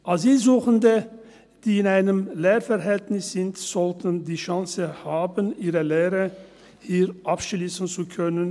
Asylsuchende, die in einem Lehrverhältnis sind, sollten die Chance haben, ihre Lehre hier abschliessen zu können.